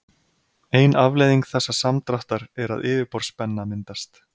Ein afleiðing þessa samdráttar er að yfirborðsspenna myndast.